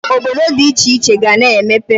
Obodo dị iche iche ga-ana emepe.